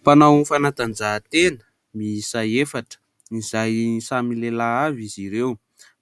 Mpanao ny fanatanjahatena miisa efatra izay samy lehilahy avy izy ireo.